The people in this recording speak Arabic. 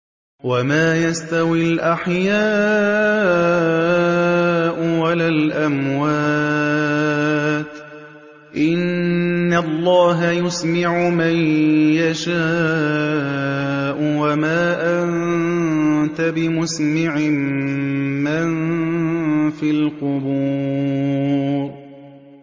وَمَا يَسْتَوِي الْأَحْيَاءُ وَلَا الْأَمْوَاتُ ۚ إِنَّ اللَّهَ يُسْمِعُ مَن يَشَاءُ ۖ وَمَا أَنتَ بِمُسْمِعٍ مَّن فِي الْقُبُورِ